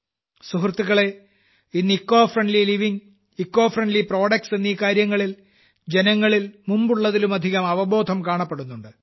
സുഹൃത്തുക്കളേ ഇന്ന് eco friendly living eco friendly products എന്നീ കാര്യങ്ങളിൽ ജനങ്ങളിൽ മുമ്പുള്ളതിലുമധികം അവബോധം കാണപ്പെടുന്നുണ്ട്